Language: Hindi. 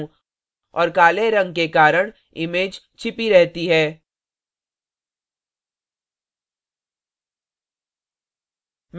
और काले रंग के कारण image छिपी रहती है